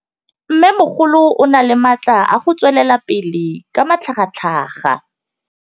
Mmêmogolo o na le matla a go tswelela pele ka matlhagatlhaga.